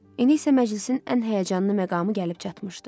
İndi isə məclisin ən həyəcanlı məqamı gəlib çatmışdı.